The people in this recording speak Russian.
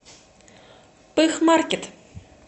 пыхмаркет